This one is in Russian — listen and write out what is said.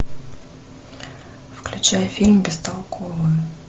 включай фильм бестолковые